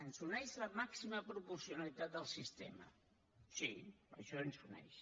ens uneix la màxima proporcionalitat del sistema sí això ens uneix